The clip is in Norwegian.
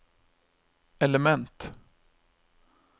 element